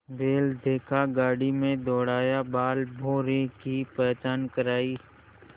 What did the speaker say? बैल देखा गाड़ी में दौड़ाया बालभौंरी की पहचान करायी